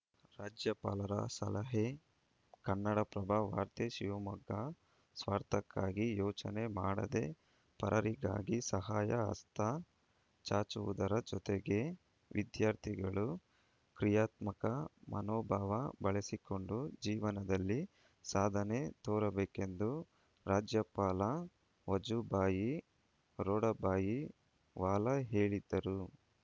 ರಾಜ್ಯಪಾಲರ ಸಲಹೆ ಕನ್ನಡಪ್ರಭ ವಾರ್ತೆ ಶಿವಮೊಗ್ಗ ಸ್ವಾರ್ಥಕ್ಕಾಗಿ ಯೋಚನೆ ಮಾಡದೇ ಪರರಿಗಾಗಿ ಸಹಾಯ ಹಸ್ತ ಚಾಚುವುದರ ಜತೆಗೆ ವಿದ್ಯಾರ್ಥಿಗಳು ಕ್ರಿಯಾತ್ಮಕ ಮನೋಭಾವ ಬೆಳೆಸಿಕೊಂಡು ಜೀವನದಲ್ಲಿ ಸಾಧನೆ ತೋರಬೇಕೆಂದು ರಾಜ್ಯಪಾಲ ವಜುಬಾಯಿ ರೂಢಬಾಯಿ ವಾಲಾ ಹೇಳಿದರು